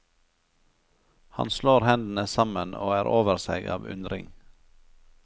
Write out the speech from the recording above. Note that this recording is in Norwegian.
Han slår hendene sammen og er over seg av undring.